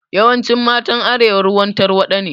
Yawancin matan arewa ruwan tarwaɗa ne